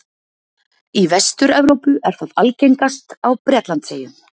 Í Vestur-Evrópu er það algengast á Bretlandseyjum.